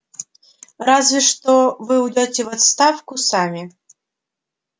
разве что вы уйдёте в отставку сами